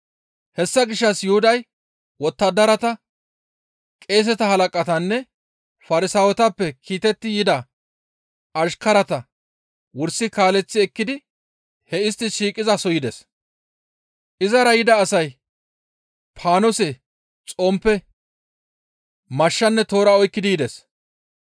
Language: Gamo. Hessa gishshas Yuhuday wottadarata, qeeseta halaqatanne Farsaawetappe kiitetti yida ashkarata wursi kaaleththi ekkidi hee istti shiiqizaso yides. Izara yida asay paanose, xomppe, mashshanne toora oykkidi yides.